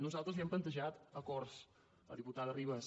nosaltres li hem plantejat acords a la diputada ribas